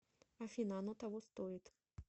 афина оно того стоит